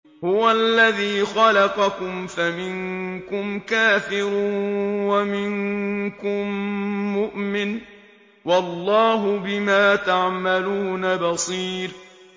هُوَ الَّذِي خَلَقَكُمْ فَمِنكُمْ كَافِرٌ وَمِنكُم مُّؤْمِنٌ ۚ وَاللَّهُ بِمَا تَعْمَلُونَ بَصِيرٌ